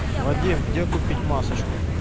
вадим где купить масочку